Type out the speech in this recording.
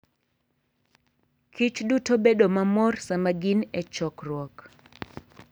kichduto bedo mamor sama gin e chokruok.